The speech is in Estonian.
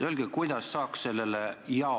Öelge, kuidas saaks sellele jaole?